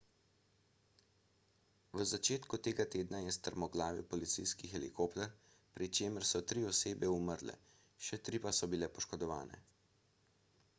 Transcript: v začetku tega tedna je strmoglavil policijski helikopter pri čemer so tri osebe umrle še tri pa so bile poškodovane